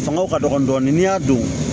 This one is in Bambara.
Fanga ka dɔgɔ dɔɔni n'i y'a don